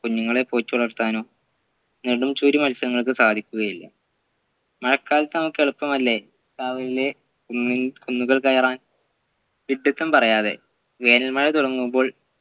കുഞ്ഞുങ്ങളെ പോറ്റിവളർത്താനോ നടുംസൂര്യ മത്സ്യങ്ങൾക്ക് സാധിക്കുകയില്ല മഴക്കാലത്ത് നമ്മുക്ക് എളുപ്പമല്ലേ കാവിലെ കുന്നു കുന്നുകൾ കയറാൻ വിഡ്ഢിത്തം പറയാതെ വേനൽമഴ തുടങ്ങുമ്പോൾ